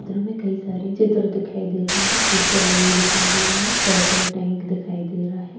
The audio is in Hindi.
चित्र में कई सारे चित्र दिखाई दे रहे हैं पोस्टर लगे हुए दिखाई दे रहे हैं पेट्रोल टैंक दिखाई दे रहा है।